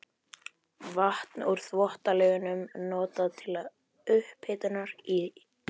Vatn úr Þvottalaugunum notað til upphitunar í